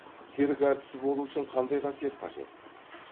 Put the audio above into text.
цирк әртісі болу үшін қандай қасиет қажет